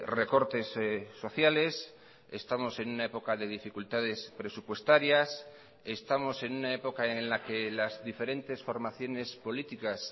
recortes sociales estamos en una época de dificultades presupuestarias estamos en una época en la que las diferentes formaciones políticas